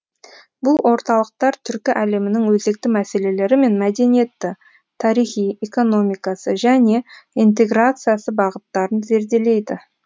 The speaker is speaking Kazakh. бұл орталықтар түркі әлемінің өзекті мәселелері мен мәдениеті тарихи экономикасы және интеграциясы бағыттарын зерделейді